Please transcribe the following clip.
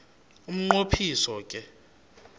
umnqo phiso ke